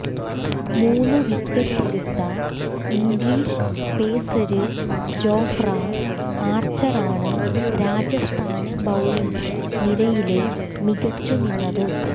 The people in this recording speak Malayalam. മൂന്നു വിക്കറ്റെടുത്ത ഇംഗ്ലീഷ് പേസര് ജോഫ്ര ആര്ച്ചറാണ് രാജസ്ഥാന് ബൌളിങ് നിരയില് മികച്ചുനിന്നത്